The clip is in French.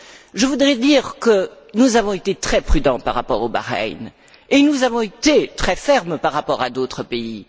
Je voudrais dire que nous avons été très prudents par rapport au Bahreïn, et nous avons été très fermes par rapport à d'autres pays.